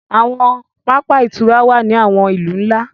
Àwọn pápá ìtura wá ní àwọn ilú nlá